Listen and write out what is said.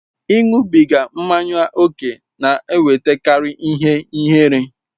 Ịṅụbiga mmanya ókè na-ewetakarị ihe ihere.